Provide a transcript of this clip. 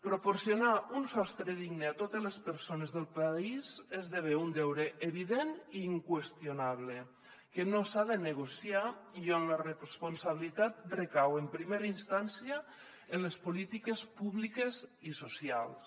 proporcionar un sostre digne a totes les persones del país esdevé un deure evident i inqüestionable que no s’ha de negociar i on la responsabilitat recau en primera instància en les polítiques públiques i socials